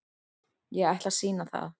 Ég ætla að sýna það.